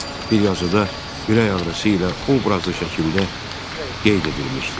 Bir yazıda ürək ağrısı ilə obrazlı şəkildə qeyd edilmişdir: